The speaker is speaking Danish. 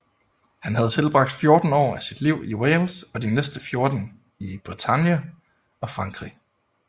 Han havde tilbragt 14 år af sit liv i Wales og de næste 14 i Bretagne og Frankrig